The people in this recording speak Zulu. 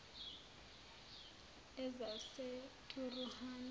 ezaseturuhani